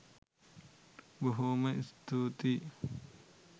බොහෝ.ම ස්තූතියි!